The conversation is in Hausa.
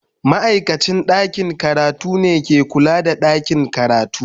Ma'aikacin ɗakin karatu ne ke kula da ɗakin karatu.